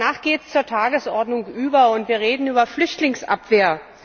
Und danach geht es zur Tagesordnung über, und wir reden über Flüchtlingsabwehr.